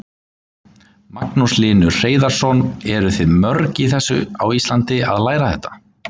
Magnús Hlynur Hreiðarsson: Eruð þið mörg í þessu á Íslandi að læra þetta?